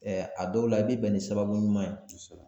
a dɔw la i bɛ bɛn ni sababu ɲuman ye.